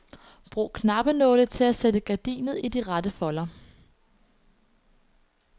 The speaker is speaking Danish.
Brug knappenåle til at sætte gardinet i de rette folder.